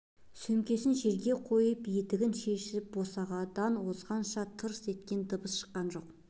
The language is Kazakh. сөмкесін жерге қойып етігін шешіп босағадан озғанша тырс еткен дыбыс шыққан жоқ